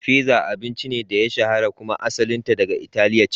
Fizza abincin ne da ya shahara kuma asalinta daga Italiya ce.